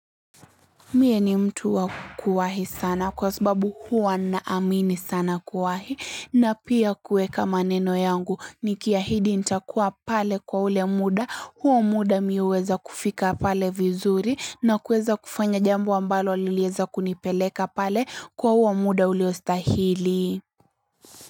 Mie ni mtu wa kuwahi sana kwa sbabu huwa naamini sana kuwahi na pia kuweka maneno yangu, nikiahidi ntakuwa pale kwa ule muda, huo muda mi huweza kufika pale vizuri, na kuweza kufanya jambo ambalo lilieza kunipeleka pale, kwa huo muda uliostahili.